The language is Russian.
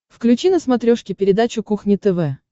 включи на смотрешке передачу кухня тв